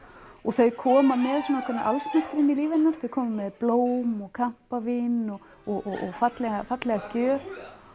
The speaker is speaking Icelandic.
og þau koma með svona allsnægtir inn í líf hennar þau koma með blóm og kampavín og og fallega fallega gjöf